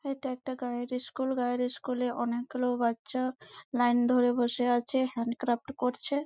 এইটা একটা গাঁয়ের ইস্কুল গাঁয়ের ইস্কুলে অনেক গুলো বাচ্চা লাইন ধরে বসে আছে। হ্যান্ড ক্যাফট করছে।